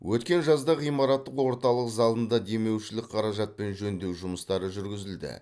өткен жазда ғимараттың орталық залында демеушілік қаражатпен жөндеу жұмыстары жүргізілді